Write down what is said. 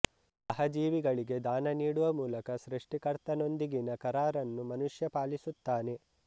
ಸಹಜೀವಿಗಳಿಗೆ ದಾನ ನೀಡುವ ಮೂಲಕ ಸೃಷ್ಟಿಕರ್ತನೊಂದಿಗಿನ ಕರಾರನ್ನು ಮನುಷ್ಯ ಪಾಲಿಸುತ್ತಾನೆ